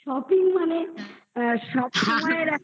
shopping মানে আ সবসময়ের একটা।